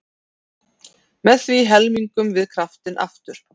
Með því helmingum við kraftinn aftur.